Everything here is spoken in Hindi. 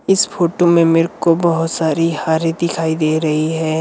इस फोटो में मेरे को बहुत सारी हारे दिखाई दे रही हैं।